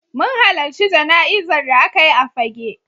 Mun halarci jana'izar da aka yi a Fagge.